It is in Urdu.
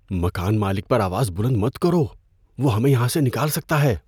مکان مالک پر آواز بلند مت کرو۔ وہ ہمیں یہاں سے نکال سکتا ہے۔